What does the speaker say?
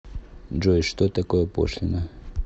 джой что такое пошлина